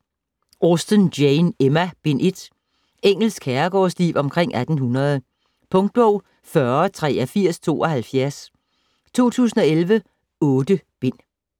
Austen, Jane: Emma: Bind 1 Engelsk herregårdsliv omkring 1800. Punktbog 408372 2011. 8 bind.